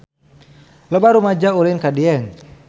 Loba rumaja ulin ka Dieng